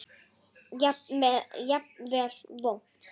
Jafnvel vont.